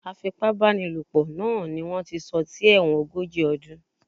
Afipábánilòpọ̀ naa ni wón ti sọ sí ẹ̀wọ̀n ogójì ọdún.